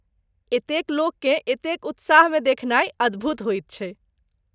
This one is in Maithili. एतेक लोककेँ एतेक उत्साहमे देखनाइ अद्भुत होइत छैक।